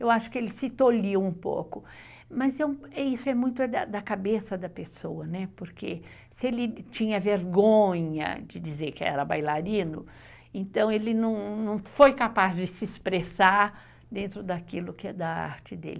Eu acho que ele se tolhiu um pouco, mas isso é muito da cabeça da pessoa, né? porque se ele tinha vergonha de dizer que era bailarino, então ele não foi capaz de se expressar dentro daquilo que é da arte dele.